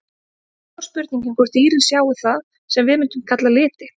En þá er spurningin hvort dýrin sjái það sem við mundum kalla liti?